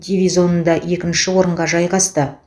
дивизионында екінші орынға жайғасты